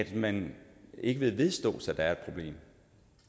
man ikke vedstå